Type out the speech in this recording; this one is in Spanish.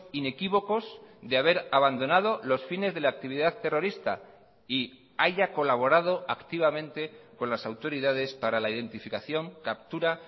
inequívocos de haber abandonado los fines de la actividad terrorista y haya colaborado activamente con las autoridades para la identificación captura